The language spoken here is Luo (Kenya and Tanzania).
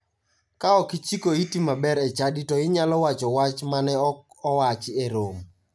Ka ok ichiko iti maber e chadi to inyalo wacho wach mane ok owach e romo.